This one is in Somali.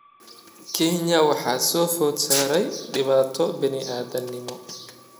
Kenya waxaa soo food saartay dhibaato bini'aadantinimo.